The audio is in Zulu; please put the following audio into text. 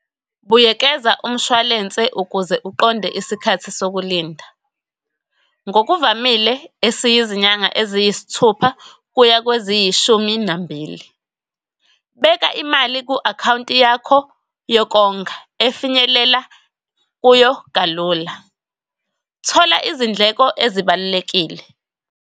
Buyekeza umshwalense ukuze uqonde isikhathi sokulinda, ngokuvamile esiyizinyanga eziyisithupha kuya kweziyishumi nambili. Beka imali ku-account yakho yokonga efinyelela kuyo kalula, thola izindleko ezibalulekile.